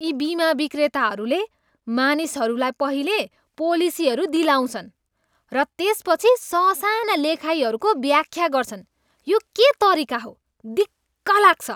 यी बिमा विक्रेताहरूले मानिसहरूलाई पहिले पोलिसीहरू दिलाउँछन् र त्यसपछि ससाना लेखाइहरूको व्याख्या गर्छन्। यो के तरिका हो? दिक्क लाग्छ।